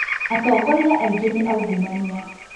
Atongoria aingĩ nĩ aungumania